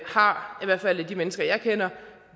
har i hvert fald af de mennesker jeg kender